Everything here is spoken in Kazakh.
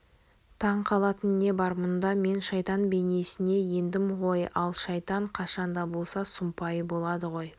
таң қалатын не бар мұнда мен шайтан бейнесіне ендім ғой ал шайтан қашан да болса сұмпайы болады ғой